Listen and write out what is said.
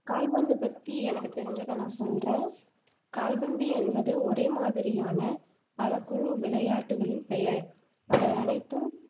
கால்பந்தை பத்தி எனக்கு தெரிஞ்சதை நான் சொல்றேன் கால்பந்து என்பது ஒரே மாதிரியான பல குழு விளையாட்டுக்களின் பெயர், அவை அனைத்தும்